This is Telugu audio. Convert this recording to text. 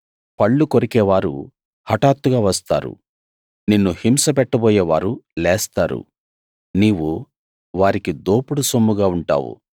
పళ్ళు కొరికే వారు హటాత్తుగా వస్తారు నిన్ను హింస పెట్టబోయేవారు లేస్తారు నీవు వారికి దోపుడు సొమ్ముగా ఉంటావు